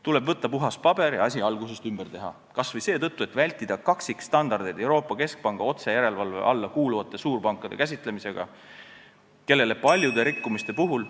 Tuleb võtta puhas paber ja asi algusest peale ümber teha, kas või seetõttu, et vältida kaksikstandardeid Euroopa Keskpanga otsejärelevalve alla kuuluvate suurpankade käsitlemisel, kellele paljude rikkumiste puhul ...